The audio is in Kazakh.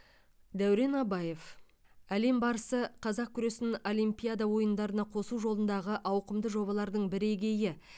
дәурен абаев әлем барысы қазақ күресін олимпиада ойындарына қосу жолындағы ауқымды жобалардың бірегейі